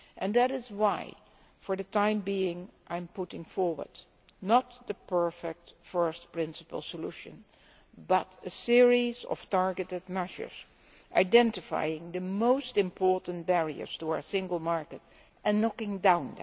That is why, for the time being, I am putting forward not the perfect, first principles solution, but a series of targeted measures identifying the most important barriers to our single market and knocking them down.